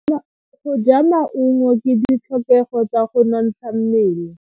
Go ja maungo ke ditlhokego tsa go nontsha mmele.